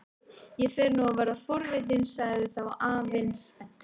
Ég fer nú að verða forvitinn sagði þá afinn spenntur.